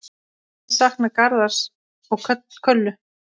Ég sakna Garðars og Köllu.